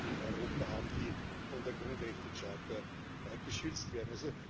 in Europa haben, die von der Grundrechtecharta geschützt werden.